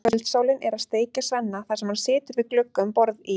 Kvöldsólin er að steikja Svenna þar sem hann situr við glugga um borð í